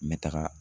N bɛ taga